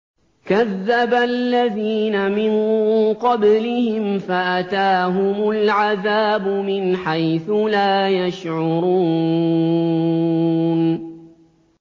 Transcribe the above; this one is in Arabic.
كَذَّبَ الَّذِينَ مِن قَبْلِهِمْ فَأَتَاهُمُ الْعَذَابُ مِنْ حَيْثُ لَا يَشْعُرُونَ